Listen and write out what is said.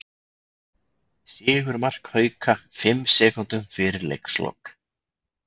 Sigurmark Hauka fimm sekúndum fyrir leikslok